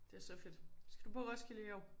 Det så fedt. Skal du på Roskilde i år?